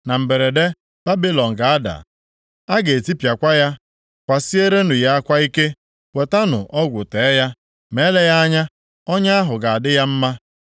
Na mberede, Babilọn ga-ada, a ga-etipịakwa ya. Kwasierenụ ya akwa ike. Wetanụ ọgwụ tee ya, ma eleghị anya ọnya ahụ ga-adị ya mma.